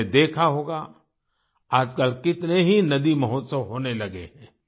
आपने देखा होगा आजकल कितने ही नदी महोत्सव होने लगे हैं